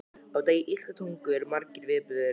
Á degi íslenskrar tungu eru margir viðburðir.